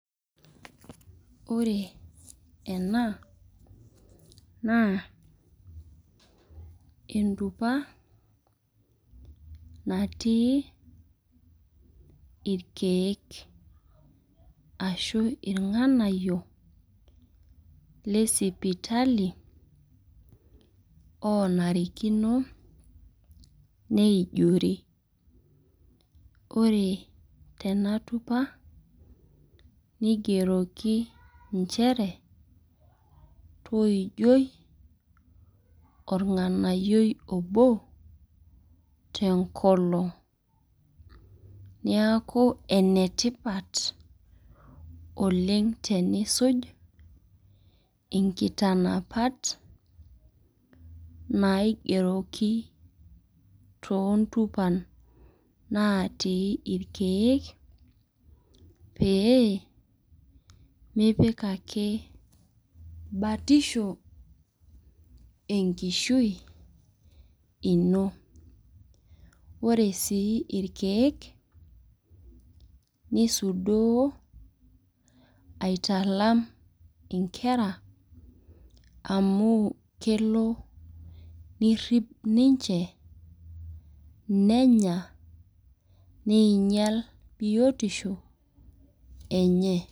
Ore ena, naa entupa natii irkeek. Ashu irng'anayio lesipitali, onarikino neijori. Ore tena tupa, nigeroki injere, toijoi orng'anayioi obo, tenkolong. Niaku enetipat oleng tenisuj, inkitanapat naigeroki toontupan natii irkeek, pee mipik ake batisho enkishui ino. Ore si irkeek, nisudoo aitalam inkera, amu kelo nirrip ninche nenya, neinyal biotisho enye.